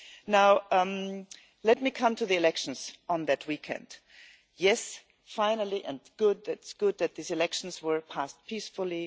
Now let me come to the elections on that weekend. Yes, finally, and it is good that these elections were passed peacefully.